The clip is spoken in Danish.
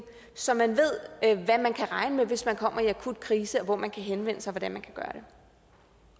så man ved hvad man kan regne med hvis man kommer i akut krise hvor man kan henvende sig og